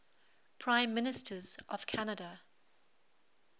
prime ministers of canada